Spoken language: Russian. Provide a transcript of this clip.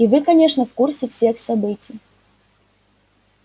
и вы конечно в курсе всех событий